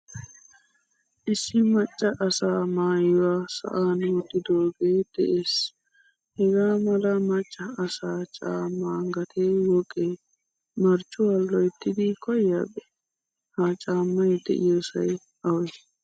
Issi macca asa maayuwaa sa'an wottidoge de'ees. Hagaa mala macca asaa caama gatee woqqe Marccuwaa loyttidi koyiyabe? Ha caamay de'iyosay awe?